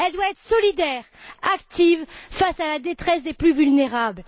Elle doit être solidaire, active, face à la détresse des plus vulnérables.